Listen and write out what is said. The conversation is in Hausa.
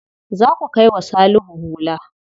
Za ku kai wa Salihu hula.